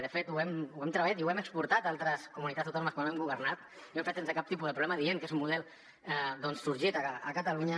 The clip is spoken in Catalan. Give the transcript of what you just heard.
de fet ho hem treballat i ho hem exportat a altres comunitats autònomes quan hem governat i ho hem fet sense cap tipus de problema dient que és un model sorgit a catalunya